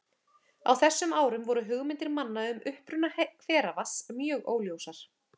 Á þessum árum voru hugmyndir manna um uppruna hveravatns mjög óljósar.